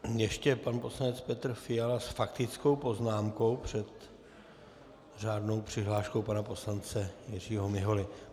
Ještě pan poslanec Petr Fiala s faktickou poznámkou před řádnou přihláškou pana poslance Jiřího Miholy.